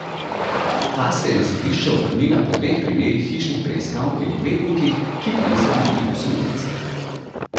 Ta se je na sodišče obrnila po dveh primerih hišnih preiskav pri odvetnikih, ki pa niso bili osumljenci.